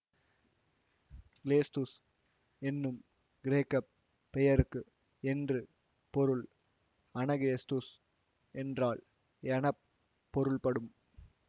கிலேத்துஸ் என்னும் கிரேக்க பெயருக்கு என்று பொருள் அனகிலேத்துஸ் என்றால் என பொருள்படும்